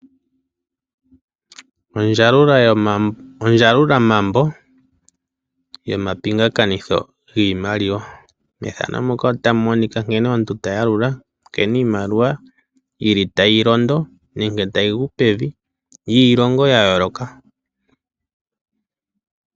Ondjalula mambo yomapingakanitho giimaliwa, nkene omuntu tayalula nkene iimaliwa yili tayigu pevi nenge tayilondo yiilongo ya yooloka.